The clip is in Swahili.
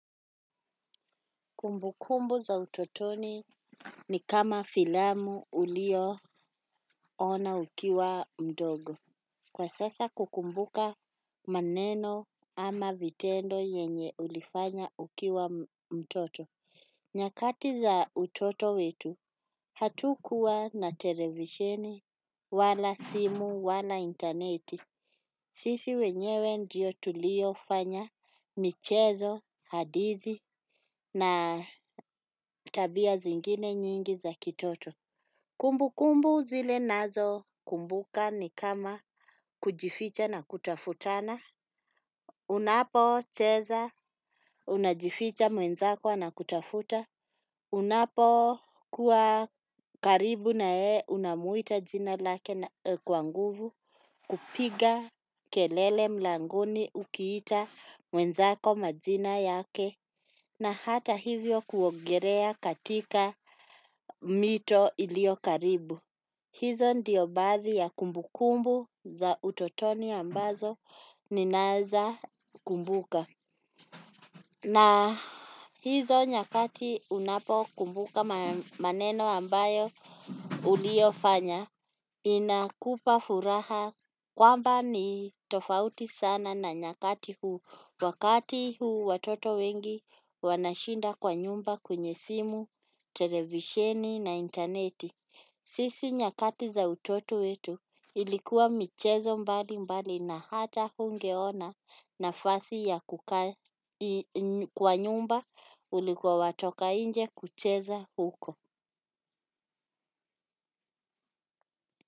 Kumbukumbu za utotoni ni kama filamu uliyo ona ukiwa mdogo kwa sasa kukumbuka maneno ama yenye ulifanya ukiwa mtoto. Nyakati za utoto wetu, hatukukuwa na televisheni, wala simu, wala internet. Sisi wenyewe ndiyo tulio fanya michezo, hadithi na tabia zingine nyingi za kitoto. Kumbu kumbu zile ninazo kumbuka ni kama kujificha na kutafutana. Unapo cheza unajificha mwenzako ana kutafuta. Unapo kuwa karibu nayeye unamuita jina lake kwa nguvu kupiga kelele mlangoni ukiita mwenzako majina yake na hata hivyo kuogelea katika mito iliyo karibu. Hizo ndiyo baadhi ya kumbukumbu za utotoni ambazo ninaeza kumbuka. Na hizo nyakati unapo kumbuka maneno ambayo uliofanya inakupa furaha. Kwamba ni tofauti sana na nyakati huu. Wakati huu watoto wengi wanashinda kwa nyumba kwenye simu, televisheni na internet. Sisi nyakati za utotu wetu ilikuwa michezo mbali mbali na hata hungeona nafasi ya kukaa kwa nyumba ulikuwa watoka nje kucheza huko.